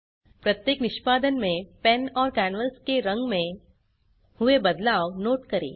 प्रत्येक निष्पादन में पेन और कैनवास के रंग में हुए बदलाव नोट करें